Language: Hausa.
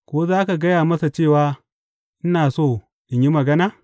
Ko za a gaya masa cewa ina so in yi magana?